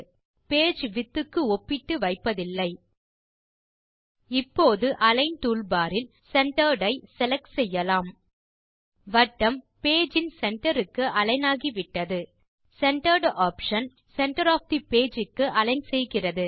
object ஐ page width க்கு ஒப்பிட்டு வைப்பதில்லை இப்போது அலிக்ன் டூல்பார் இல் சென்டர்ட் ஐ செலக்ட் செய்யலாம் வட்டம் பேஜ் இன் சென்டர் க்கு அலிக்ன் ஆகிவிட்டது சென்டர்ட் ஆப்ஷன் வட்டத்தை சென்டர் ஒஃப் தே பேஜ் க்கு அலிக்ன் செய்கிறது